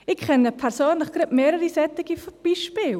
Ich kenne persönlich gerade mehrere solcher Beispiele.